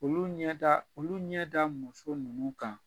Olu ɲɛ da olu ɲɛ da muso nunnu kan